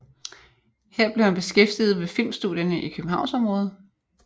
Her blev han beskæftiget ved filmstudierne i Københavnsområdet